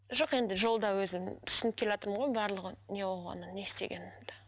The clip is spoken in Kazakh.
жоқ енді жолда өзім түсініп келатырмын ғой барлығын не болғанын не істегенміді